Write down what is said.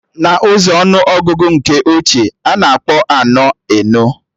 Na ụzọ ọnụ ọgụgụ nke ochie, a na-akpọ anọ, enọ